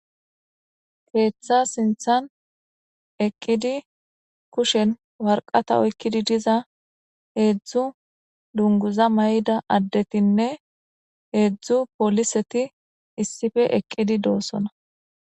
keeththa sinthan eqqidi kushen warqata oykkidi diza heedzdzu dunguza may7ida addetinne heedzdzu poliseti issife eqqidi doosona